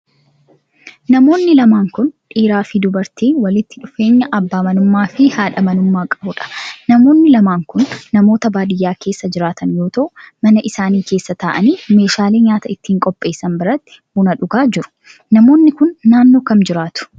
Namoonni lamaan kun, dhiiraa fi dubartii walitti dhufeenya abbaa manummaa fi haadha manummaa qabuu dha. Namoonni lamaan kun, namoota baadiyaa keessa jiraatan yoo ta'u, mana isaanii keessa ta'anii meeshaalee nyaata ittiin qopheessan biratti buna dhugaa jiru. Namni kun, naannoo kam jiraatu?